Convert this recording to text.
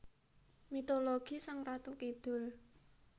Mitologi Sang Ratu Kidul